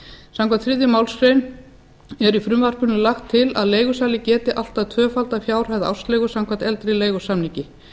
samkvæmt þriðju málsgrein er í frumvarpinu lagt til að leigusali geti allt að tvöfaldað fjárhæð ársleigu samkvæmt eldri leigusamningi